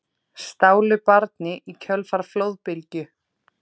Stálu barni í kjölfar flóðbylgju